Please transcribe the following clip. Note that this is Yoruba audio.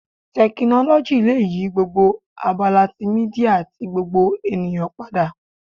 Tekinoloji le yi gbogbo abala ti media ti gbogbo eniyan pada